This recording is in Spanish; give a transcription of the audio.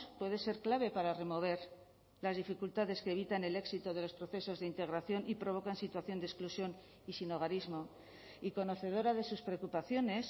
puede ser clave para remover las dificultades que eviten el éxito de los procesos de integración y provocan situación de exclusión y sinhogarismo y conocedora de sus preocupaciones